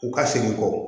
U ka segin kɔ